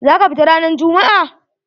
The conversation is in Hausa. Za ka fita ranan jummu'a?